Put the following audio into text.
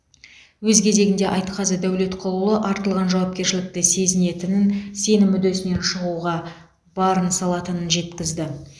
өз кезегінде айтқазы дәулетқұлұлы артылған жауапкершілікті сезінетінін сенім үдесінен шығуға барын салатынын жеткізді